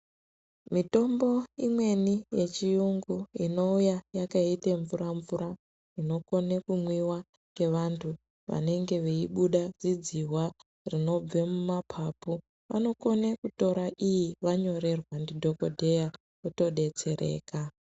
Mitombo imweni yechiyungu inouya yakaite mvura- mvura inokone kumwiwa ngavantu vanenge veibuda zidzihwa rinobve reibuda mumapapu vanokone kutora iyi vanyorerwa ndidhokodheya votodetsereka.